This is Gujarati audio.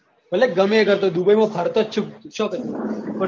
ભલે ગમે તે કરતો હોય dubai માં ફરતો જ